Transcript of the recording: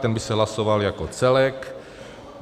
Ten by se hlasoval jako celek.